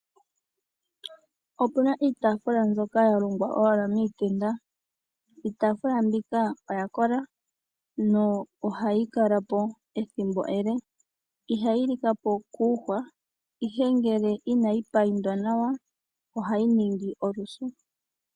Opuna iitafulwa mbyoka owala ya longwa miitenda iitafula mbika oya kola nohayi kala po ethimbo ele ihayi likapo kuuhwa ihe ngele inayi paintwa nawa ohayi ningi olusu.